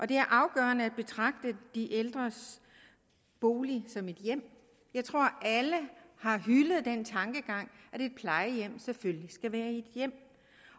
det er afgørende at betragte de ældres bolig som et hjem jeg tror alle har hyldet den tankegang at et plejehjem selvfølgelig skal være et hjem